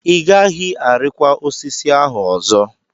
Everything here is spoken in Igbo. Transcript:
Ị gaghị arịkwa osisi ahụ ọzọ!